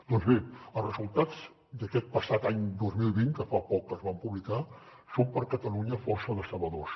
doncs bé els resultats d’aquest passat any dos mil vint que fa poc que es van publicar són per a catalunya força decebedors